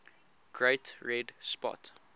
great red spot